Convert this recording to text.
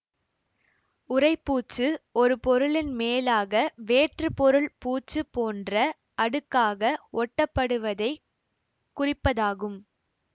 உறைப்பூச்சு ஒரு பொருளின் மேலாக வேற்று பொருள் பூச்சு போன்ற அடுக்காக ஒட்டப்படுவதைக் குறிப்பதாகும்